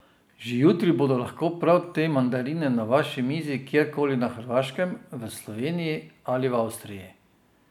Že jutri bodo lahko prav te mandarine na vaši mizi kjerkoli na Hrvaškem, v Sloveniji ali Avstriji!